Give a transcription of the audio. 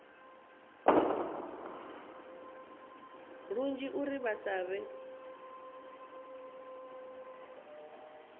lunzhi uri vha sa vhe